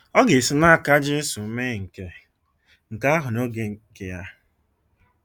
Ọ ga-esi n’aka Jesu mee nke nke ahụ n’oge nke Ya.